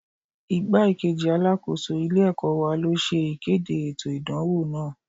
Igbá-kejì Alákóso ilé ẹ̀kọ́ wa ló ṣe ìkéde ètò ìdánwò náà.